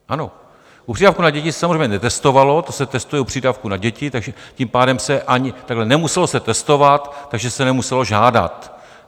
Ano, u přídavku na děti se samozřejmě netestovalo, to se testuje u přídavků na děti, takže tím pádem se ani... takhle - nemuselo se testovat, takže se nemuselo žádat.